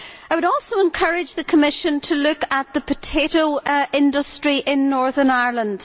I would also encourage the Commission to look at the potato industry in Northern Ireland.